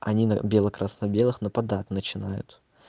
они на бело-красно-белых нападать начинают